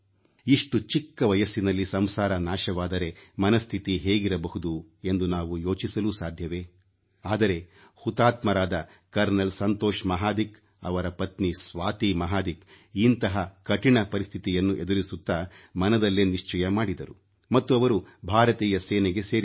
ಇಷ್ಟು ಚಿಕ್ಕ ವಯಸ್ಸಿನಲ್ಲಿ ಸಂಸಾರ ನಾಶವಾದರೆ ಮನಃಸ್ಥಿತಿ ಹೇಗಿರಬಹುದು ಎಂದು ನಾವು ಯೋಚಿಸಲೂ ಸಾಧ್ಯವೇ ಆದರೆ ಹುತಾತ್ಮರಾದ ಕರ್ನಲ್ ಸಂತೋಷ್ ಮಹಾದಿಕ್ ಅವರ ಪತ್ನಿ ಸ್ವಾತಿ ಮಹಾದಿಕ್ ಇಂತಹ ಕಠಿಣ ಪರಿಸ್ಥಿತಿಯನ್ನು ಎದುರಿಸುತ್ತಾ ಮನದಲ್ಲೇ ನಿಶ್ಚಯ ಮಾಡಿದರು ಮತ್ತು ಅವರು ಭಾರತೀಯ ಸೇನೆಗೆ ಸೇರಿದರು